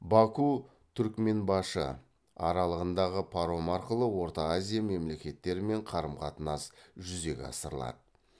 баку түрікменбашы аралығындағы паром арқылы орта азия мемлекеттерімен қарым қатынас жүзеге асырылады